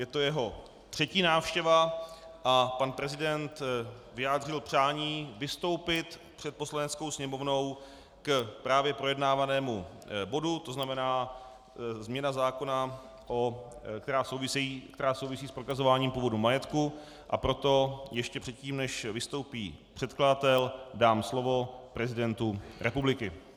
Je to jeho třetí návštěva a pan prezident vyjádřil přání vystoupit před Poslaneckou sněmovnou k právě projednávanému bodu, to znamená změna zákona, která souvisí s prokazováním původu majetku, a proto ještě předtím, než vystoupí předkladatel, dám slovo prezidentu republiky.